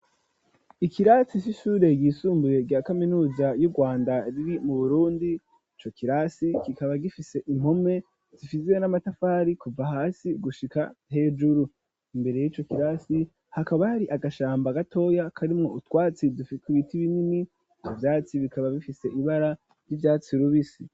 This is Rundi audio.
Ikirasi c'ishure ryisumbuye rya kaminuza y'Urwanda riri mu Burundi, ico kirasi kikaba gifise impome zifise n'amatafari kuva hasi gushika hejuru. Imbere y'ico kirasi hakaba hari agashamba gatoya karimwo utwatsi dufise ibiti binini ivyo vyatsi bikaba bifise ibara ry'ivyatsi rubisi.